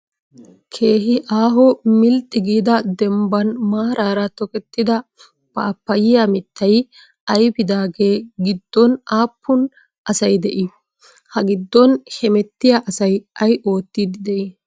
Keehi aaho milxxi giida dembban maaraara tokettida paappayyiyaa mittay ayipidaaga gidoon aappun asayi de'ii? Ha giddon hemettiyaa asayi ayi oottiddi de"ii?